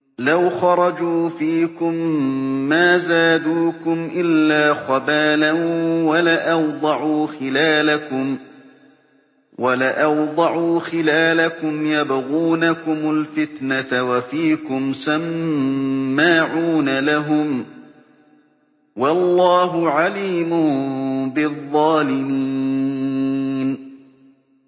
لَوْ خَرَجُوا فِيكُم مَّا زَادُوكُمْ إِلَّا خَبَالًا وَلَأَوْضَعُوا خِلَالَكُمْ يَبْغُونَكُمُ الْفِتْنَةَ وَفِيكُمْ سَمَّاعُونَ لَهُمْ ۗ وَاللَّهُ عَلِيمٌ بِالظَّالِمِينَ